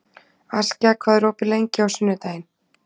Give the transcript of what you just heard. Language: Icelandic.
Askja, hvað er opið lengi á sunnudaginn?